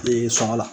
sɔngɔ la